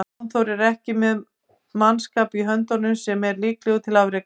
Jón Þór er ekki með mannskap í höndunum sem er líklegur til afreka.